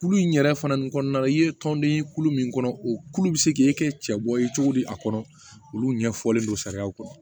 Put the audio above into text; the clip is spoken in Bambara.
Kulu in yɛrɛ fana nin kɔnɔna na i ye tɔnden kulu min kɔnɔ o kulu bɛ se k'i kɛ cɛ bɔ ye cogo di a kɔrɔ olu ɲɛfɔlen don sariyaw kɔnɔ